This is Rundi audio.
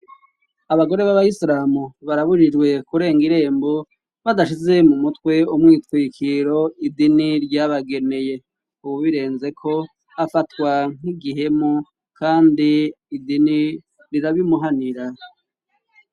Abagore b'abayisiramu barabujijwe kurenga irembo badashize mu mutwe umwitwikiro idini ryabageneye, uwubirenzeko afatwa nk'igihemu kandi idini rirabimuhanira.